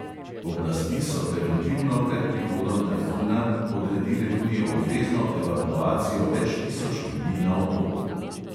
Oblasti so preventivno pred prihodom tajfuna odredile tudi obvezno evakuacijo več tisoč ljudi na otoku.